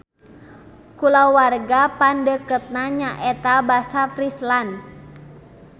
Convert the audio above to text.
Kulawarga pangdeukeutna nyaeta basa Friesland.